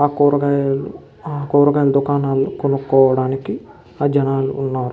కూరగాయలు కూరగాయలు దుకాణాలు కొనుకోవడానికి ఆ జనాలు ఉన్నారు.